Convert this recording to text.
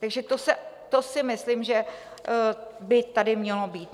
Takže to si myslím, že by tady mělo být.